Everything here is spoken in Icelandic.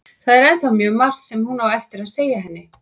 Það er ennþá mjög margt sem hún á eftir að segja henni.